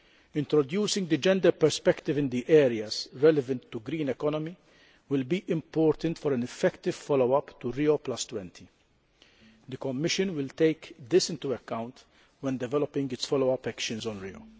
Introducing the gender perspective in the areas relevant to the green economy will be important for an effective follow up to Rio20. The Commission will take this into account when developing its follow up actions on Rio.